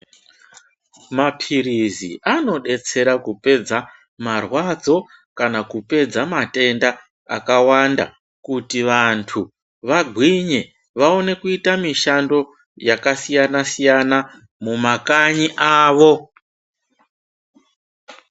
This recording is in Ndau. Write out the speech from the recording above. Mapirizi ano detsera kupedza marwadzo kana kupedza matenda akawanda kuti vantu vangwinye vaone kuita mishando yaka siyana siyana mu makanyi avo.